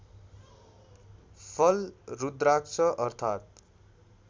फल रुद्राक्ष अर्थात्